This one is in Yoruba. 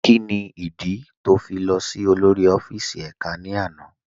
Kíni ìdí tó ń fi lọ sí olórí ọfíìsì èká ní àná?